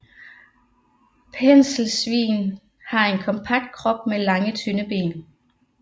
Penselsvin har en kompakt krop med lange tynde ben